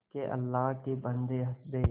के अल्लाह के बन्दे हंस दे